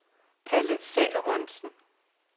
Palle Salomonsen